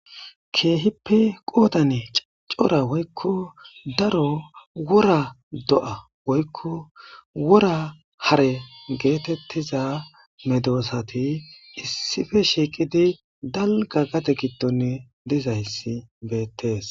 Keehippe qoodane cora woykko daro wora do'a woykko wora hare geetettiza medoosati issippe shiiqidi dalga gade giddonni dizayssi beettees.